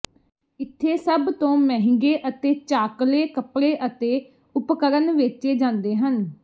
ਇੱਥੇ ਸਭ ਤੋਂ ਮਹਿੰਗੇ ਅਤੇ ਚਾਕਲੇ ਕੱਪੜੇ ਅਤੇ ਉਪਕਰਣ ਵੇਚੇ ਜਾਂਦੇ ਹਨ